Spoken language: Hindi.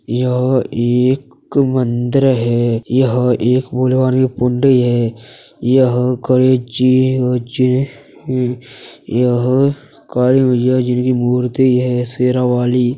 यह एक मंदिर है। यह एक है। यह करे ची ची यह काली मैया जिनकी मूर्ति है। शेरा वाली --